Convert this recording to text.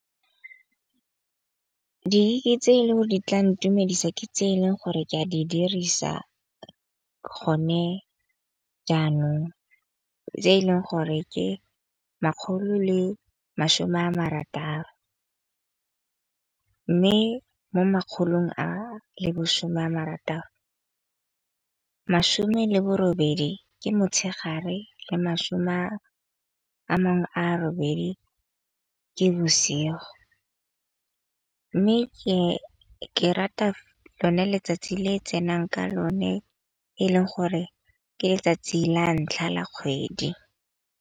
Ke tse di tla ntumedisa ke tse e leng gore ke a di dirisa gone jaanong, tse e leng gore ke makgolo le masome a marataro. Mme mo makgolong a le bosome a marataro, masome le bo robedi ke motshegare le masome a mangwe a robedi ke bosigo. Mme ke rata lone letsatsi le tsenang ka lone e leng gore ke letsatsi la ntlha la kgwedi.